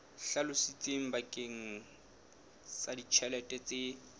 hlalositsweng bakeng sa ditjhelete tse